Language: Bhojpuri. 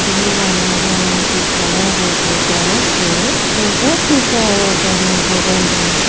अदमी बान जवन की खड़ा होक सड़क पे फोटो खिचाव तान बगल में |